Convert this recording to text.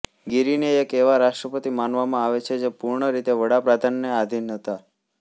ગીરીને એક એવા રાષ્ટ્રપતિ માનવામાં આવે છે જે પૂર્ણ રીતે વડાપ્રધાનને આધીન હતા